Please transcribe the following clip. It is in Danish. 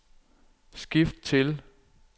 skift til